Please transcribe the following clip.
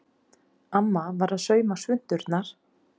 Amma var að sauma svunturnar.